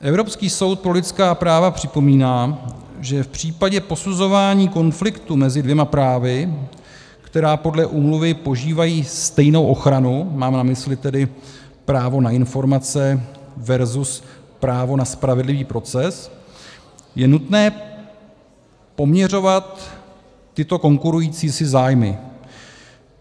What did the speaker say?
Evropský soud pro lidská práva připomíná, že v případě posuzování konfliktu mezi dvěma právy, která podle úmluvy požívají stejnou ochranu - mám na mysli tedy právo na informace versus právo na spravedlivý proces -, je nutné poměřovat tyto konkurující si zájmy.